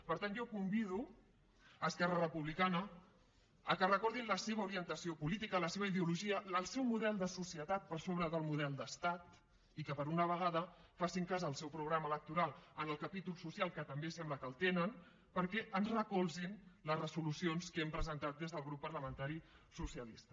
per tant jo convido a esquerra republicana que recordin la seva orientació política la seva ideologia el seu model de societat per sobre del model d’estat i que per una vegada facin cas del seu programa electoral en el capítol social que també sembla que el tenen perquè ens recolzin les resolucions que hem presentat des del grup parlamentari socialista